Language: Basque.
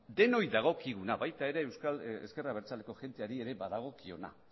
denoi dagokiguna baita ere ezker abertzaleko jendeari ere badagokiona